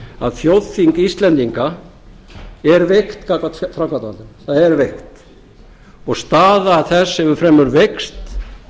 að þjóðþing íslendinga er veikt gagnvart framkvæmdarvaldinu það er veikt og staða þess hefur fremur veikst